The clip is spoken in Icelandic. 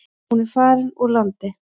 Hún er farin úr landi.